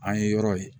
An ye yɔrɔ ye